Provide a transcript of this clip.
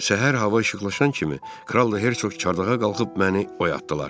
Səhər hava işıqlaşan kimi Kral da Hercoq çardağa qalxıb məni oyatdılar.